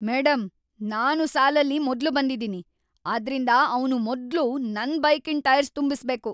Madam, ನಾನು ಸಾಲಲ್ಲಿ ಮೊದ್ಲು ಬಂದಿದೀನಿ, ಆದ್ರಿಂದ ಅವ್ನು ಮೊದ್ಲು ನನ್ ಬೈಕಿನ್ ಟೈರ್ಸ್‌ ತುಂಬಿಸ್ಬೇಕು.